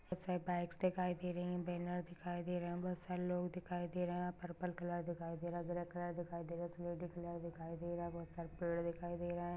Bags दिखाई दे रही है बैनर दिखाई दे रहे है बहुत सारे लोग दिखाई दे रहे है पर्पल कलर दिखाई दे रहा है ग्रे कलर दिखाई दे रहा है कलर दिखाई दे रहा है बहुत सारे पेड़ दिखाई दे रहे है।